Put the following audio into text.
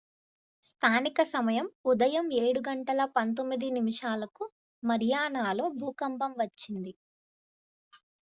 స్థానిక సమయం ఉదయం 07:19 గంటలకు marianaలో భూకంపం వచ్చింది 09:19 p.m. gmt శుక్రవారం